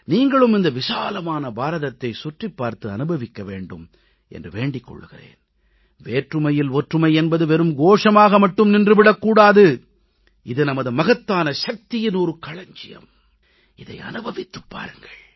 நீங்களும் இந்த விசாலமான பாரதத்தைச் சுற்றிப் பார்த்து அனுபவிக்க வேண்டும் என்று வேண்டிக் கொள்கிறேன் வேற்றுமையில் ஒற்றுமை என்பது வெறும் கோஷமாக மட்டும் நின்று விடக் கூடாது இது நமது மகத்தான சக்தியின் களஞ்சியம் இதை அனுபவித்துப் பாருங்கள்